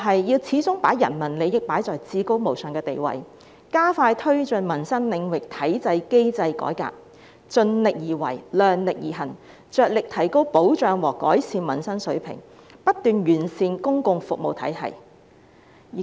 要始終把人民利益擺在至高無上的地位，加快推進民生領域體制機制改革，盡力而為、量力而行，着力提高保障和改善民生水平，不斷完善公共服務體系。